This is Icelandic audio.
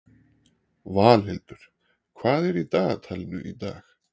Valhildur, hvað er í dagatalinu í dag?